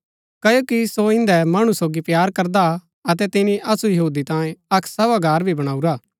कओ की सो इन्दै मणु सोगी प्‍यार करदा अतै तिनी असु यहूदी तांई अक्क सभागार भी बणऊरा